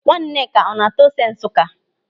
Nwaneka ọ na-ata ose Nsụka?